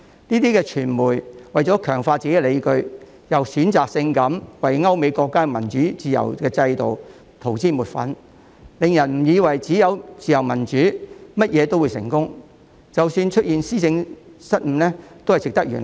這些傳媒為了強化自己的理據，又選擇性為歐美國家的民主自由制度塗脂抹粉，令人以為只要有自由民主，便甚麼都會成功，即使出現施政失誤亦值得原諒。